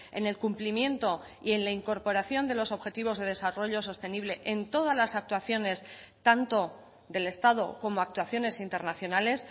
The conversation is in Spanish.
en el cumplimiento y en la incorporación de los objetivos de desarrollo sostenible en todas las actuaciones tanto del estado como actuaciones internacionales